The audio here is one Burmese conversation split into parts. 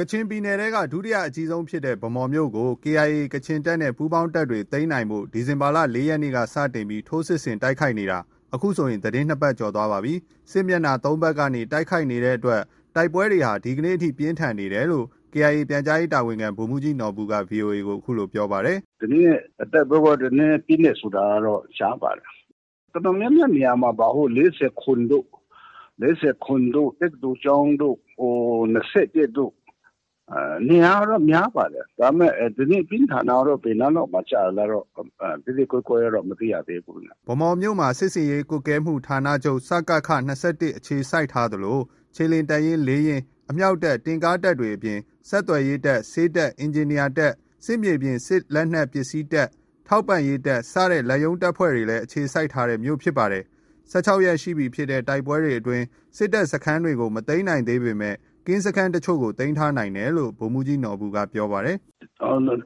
ကချင်ပြည်နယ်ထဲက ဒုတိယအကြီးဆုံးဖြစ်တဲ့ ဗန်းမော်မြို့ကို KIA ကချင်တပ်နဲ့ ပူးပေါင်းတပ်တွေ သိမ်းနိုင်ဖို့ ဒီဇင်ဘာလ ၄ ရက်နေ့ စတင်ပြီး ထိုးစစ်ဆင်တိုက်ခိုက်နေတာ အခုဆို သီတင်း ၂ ပတ်ကျော် သွားပါပြီ။ စစ်မျက်နှာ ၃ ဘက်ကနေတိုက်ခိုက်နေတဲ့ တိုက်ပွဲတွေဟာ ဒီနေ့အထိ ပြင်းထန်နေတယ်လို့ KIA ပြန်ကြားရေးတာဝန်ခံ ဗိုလ်မှူးကြီးနော်ဘူက VOA ကို အခုလို ပြောပါတယ်။ “ဒီနေ့ တိုက်ပွဲကတော့ နည်းနည်း ပြင်းတယ်ဆိုတာကတော့ ကြားပါတယ်။ တော်တော်များများ နေရာ မှာပါ။ ၄၇ တို့၊ တက္ကသိုလ်ကျောင်းတို့၊ ၂၁ တို့ နေရာကတော့ များပါတယ်။ ဒါပေမဲ့ ဒီနေ့ ပြင်းထန်တာ ကတော့ ဘယ်နားလောက်မှာ ကျလဲတော့ သဲသဲကွဲကွဲတော့ မသိရသေးဘူး။” ဗန်းမော်မြို့မှာ စစ်ဆင်ရေးကွပ်ကဲမှုဌာနချုပ် (စကခ) ၂၁ အခြေစိုက်ထားသလို ခြေလျင်တပ်ရင်း ၄ ရင်း၊ အမြောက်တပ်၊ တင့်ကားတပ်တွေအပြင် ဆက်သွယ်ရေးတပ်၊ ဆေးတပ်၊ အင်ဂျင်နီယာတပ်၊ စစ်မြေပြင်စစ်လက်နက်ပစ္စည်းတပ်၊ ထောက်ပံ့ရေး တပ်စတဲ့ လက်ရုံးတပ်ဖွဲ့တွေလည်း အခြေစိုက် ထားတဲ့ မြို့ဖြစ်ပါတယ်။ ၁၆ ရက်ရှိပြီဖြစ်တဲ့ တိုက်ပွဲတွေအတွင်း စစ်တပ်စခန်းကြီးတွေကို မသိမ်းနိုင်သေးပေမဲ့ ကင်းစခန်းတချို့ကို သိမ်းထားနိုင်တယ်လို့ ဗိုလ်မှူးကြီးနော်ဘူက ပြောပါတယ်။ “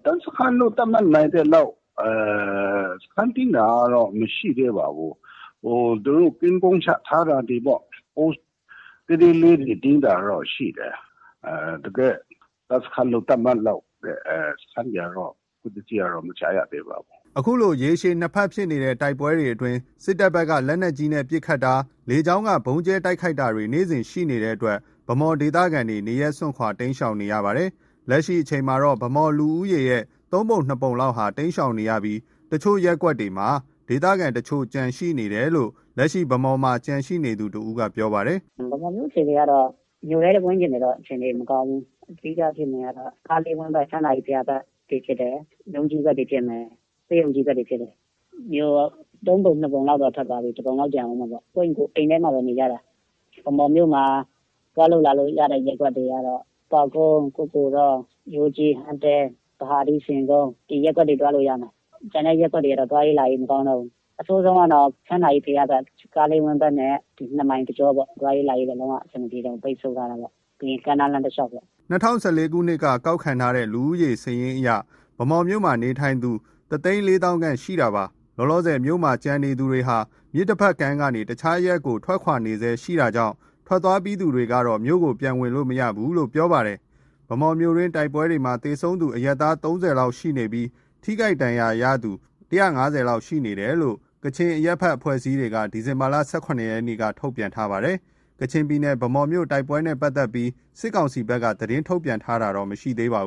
တပ်စခန်းလို့ သတ်မှတ်နိုင်သလောက် စခန်းသိမ်းတာတော့ မရှိသေးပါဘူး။ သူတို့ ကင်းပုန်းချထားတာ တွေပေါ့။ Post သေးသေးလေးတွေ သိမ်းတာတော့ ရှိတယ်။ တကယ့် တပ်စခန်းလို့ သတ်မှတ်လောက် တဲ့ စခန်းတွေကတော့ အခုထက်ထိတော့ မကြားရသေးပါဘူး။” အခုလို ရက်ရှည် ၂ ဘက်ဖြစ်နေတဲ့ တိုက်ပွဲတွေအတွင်း စစ်တပ်ဘက်က လက်နက်ကြီး ပစ်ခတ်တာ၊ လေကြောင်းက ဗုံးကြဲတိုက်ခိုက်တာတွေ နေ့စဉ်ရှိနေတဲ့အတွက် ဗန်းမော် ဒေသခံတွေ နေရပ်စွန့်ခွာ တိမ်းရှောင်နေကြရပါတယ်။ လက်ရှိအချိန်မှာ ဗန်းမော်လူဦးရေရဲ့ သုံးပုံနှစ်ပုံလောက်ဟာ တိမ်းရှောင် နေပြီး အချို့ ရပ်ကွက်တွေမှာပဲ ဒေသခံတချို့ ကျန်တယ်လို့ လက်ရှိ ဗန်းမော်မြို့မှာ ကျန်ရှိနေသူ တဦးက ပြောပြပါတယ်။ “ဗန်းမော်မြို့အခြေအနေကတော့ မြို့ထဲ ဝန်းကျင်တွေကတော့ အခြေအနေ မကောင်းဘူး။ အဓိက ဖြစ်နေတာကတော့ ကားလေးဝန်းဘက်၊ ချမ်းသာကြီးဘုရားဘက်တွေဖြစ်တယ်။ ရုံးကြီးဘက်တွေ ဖြစ်မယ်။ ဆေးရုံကြီးဘက်တွေဖြစ်တယ်။ မြို့ သုံးပုံ နှစ်ပုံလောက်တော့ ထွက်သွားပြီ။ တပုံလောက် ကျန်အုံးမှာပေါ့။ ကိုယ့်အိမ်ကိုယ် အိမ်ထဲမှာပဲ နေကြတာ။ ဗန်းမော်မြို့မှာ သွားလို့လာလို့ ရတဲ့ ရပ်ကွက်တွေကတော့ ပေါက်ကုန်း၊ ကုက္ကိုတော၊ ရိုးကြီး၊ ဟန်းတဲ၊ ဗဟာဒူး၊ ဆင်ကုန်း ဒီရပ်ကွက်တွေ သွားလို့ ရမယ်။ ကျန်တဲ့ရပ်ကွက်တွေကတော့ သွားရေးလာရေးမကောင်းတော့ဘူး။ အဆိုးဆုံးကတော့ ချမ်းသာကြီးဘုရားဘက်၊ ကားလေးဝန်းဘက်နဲ့ ဒီ နှစ်မိုင်တကြောပေါ့။ သွားရေးလာရေးက လုံး၀ အဆင်မပြေတော့ဘူး။ ပိတ်ဆို့ထားတာပေါ့။ ပြီးရင် ကမ်းနားလမ်းတလျောက်ပေါ့။ ” ၂၀၁၄ ခုနှစ် လူဦးရေစာရင်းအရ ဗန်းမော်မြို့မှာနေထိုင်သူ တသိန်းလေးသောင်းခန့် (၁၄၀,၀၀၀) ရှိနေတာဖြစ်ပါတယ်။ လောလောဆယ်မြို့မှာ ကျန်ရှိနေသူတွေဟာ မြစ်တဘက်ကမ်းကနေ တခြား အရပ်တွေကို ထွက်ခွာတာတွေ ရှိနေဆဲဖြစ်ကြောင်းနဲ့ ထွက်သွားပြီးသူတွေကတော့ မြို့ကို ပြန်ဝင်လို့ မရဘူးလို့ ပြောပြကြပါတယ်။ ဗန်းမော်မြို့တိုက်ပွဲအတွင်းမှာ သေဆုံးသူ အရပ်သား ၃၀ လောက်ရှိပြီး ထိခိုက်ဒဏ်ရာရသူ ၁၅၀ လောက်ရှိတယ်လို့ ကချင်အရပ်ဘက်အဖွဲ့အစည်းတွေ ဒီဇင်ဘာ ၁၇ ရက်က ထုတ်ပြန်ထားပါတယ်။ ကချင်ပြည်နယ် ဗန်းမော်မြို့ တိုက်ပွဲနဲ့ပတ်သက်ပြီး စစ်ကောင်စီဘက်က သတင်းထုတ်ပြန်တာတော့ မရှိပါဘူး